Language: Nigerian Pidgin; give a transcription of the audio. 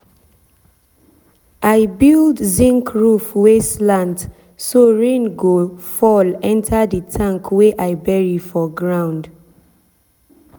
i build zinc roof wey slant so rain go fall enter the tank wey i bury for ground.